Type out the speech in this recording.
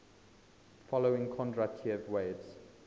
following kondratiev waves